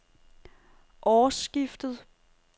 årsskiftet